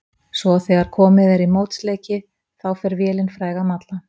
Svo þegar komið er í mótsleiki þá fer vélin fræga að malla.